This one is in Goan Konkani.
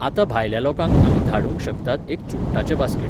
आतां भायल्या लोकांक आमी धाडूंक शकतात एक चुडटाचें बास्केट